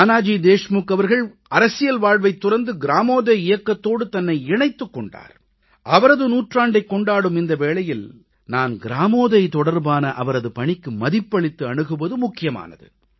நானாஜி தேஷ்முக் அவர்கள் அரசியல் வாழ்வைத் துறந்து கிராமோதய் இயக்கத்தோடு தன்னை இணைத்துக் கொண்டார் அவரது நூற்றாண்டைக் கொண்டாடும் இந்த வேளையில் நாம் கிராமோதய் தொடர்பான அவரது பணிக்கு மதிப்பளித்து அணுகுவது முக்கியமானது